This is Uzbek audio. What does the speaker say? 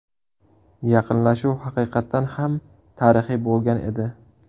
Yaqinlashuv haqiqatan ham tarixiy bo‘lgan edi.